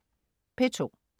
P2: